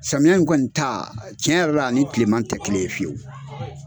Samiya in kɔni ta tiɲɛ yɛrɛ la a ni kileman tɛ kelen ye fewu.